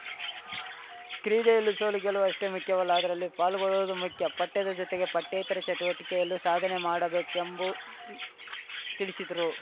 ಕ್ರೀಡೆಯಲ್ಲಿ ಸೋಲುಗೆಲುವಷ್ಟೇ ಮುಖ್ಯವಲ್ಲ ಅದರಲ್ಲಿ ಪಾಲ್ಗೊಳ್ಳುವುದು ಮುಖ್ಯ ಪಠ್ಯದ ಜೊತೆಗೆ ಪಠ್ಯೇತರ ಚಟುವಟಿಕೆಯಲ್ಲೂ ಸಾಧನೆ ಮಾಡಬೇಕೆಂಬು ತಿಳಿಸಿದರು